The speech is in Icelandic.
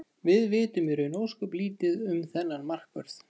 Við vitum í raun ósköp lítið um þennan markvörð.